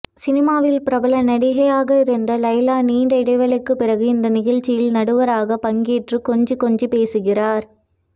சினிமாவில் பிரபல நடிகையாக இருந்த லைலா நீண்ட இடைவெளிக்குப் பிறகு இந்த நிகழ்ச்சியில் நடுவராக பங்கேற்று கொஞ்சிக் கொஞ்சி பேசுகிறார்